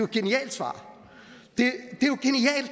genialt svar